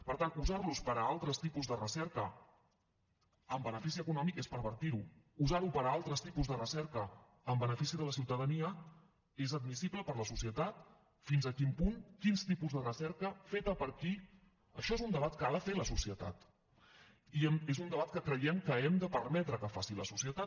per tant usar los per a altres tipus de recerca amb benefici econòmic és pervertir ho usar ho per a altres tipus de recerca en benefici de la ciutadania és admissible per a la societat fins a quin punt quins tipus de recerca feta per qui això és un debat que ha de fer la societat i és un debat que creiem que hem de permetre que faci la societat